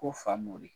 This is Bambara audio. Ko famori